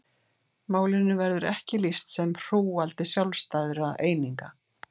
Málinu verður ekki lýst sem hrúgaldi sjálfstæðra eininga.